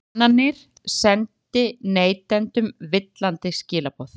Kannanirnar sendi neytendum villandi skilaboð